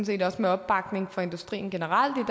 set også med opbakning fra industrien generelt